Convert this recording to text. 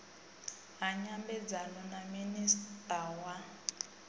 ha nyambedzano na minista wa